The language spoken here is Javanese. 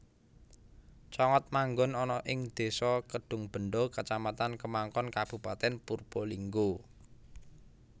Congot manggon ana ing désa Kedungbenda kacamatan Kemangkon Kabupatèn Purbalingga